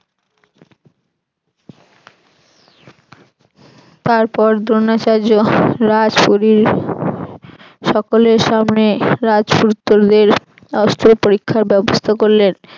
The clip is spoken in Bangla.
তারপর দ্রোণাচার্য সকলের সামনে রাজপুত্রদের অস্ত্র পরীক্ষার ব্যবস্থা করলেন।